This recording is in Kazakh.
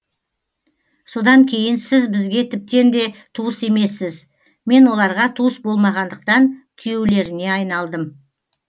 содан кейін сіз бізге тіптен де туыс емессіз мен оларға туыс болмағандықтан күйеулеріне айналдым